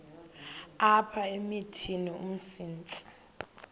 apha emithini umsintsi